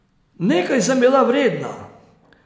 Nekaj sem bila vredna.